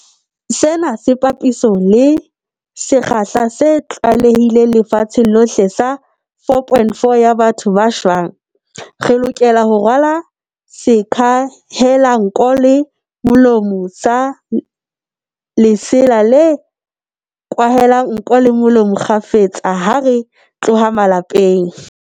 Sena ke papisong le sekgahla se tlwaelehileng lefatsheng lohle sa 4.4 ya batho ba shwang. Re lokela ho rwala sekwahelanko le molomo sa lesela se kwahelang nko le molomo kgafetsa ha re tloha malapeng.